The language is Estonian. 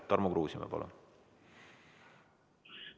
Tarmo Kruusimäe, palun!